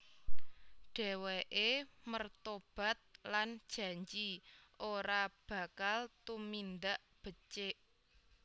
Dheweke mertobat lan janji ora bakal tumindak becik